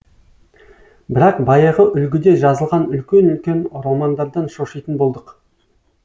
бірақ баяғы үлгіде жазылған үлкен үлкен романдардан шошитын болдық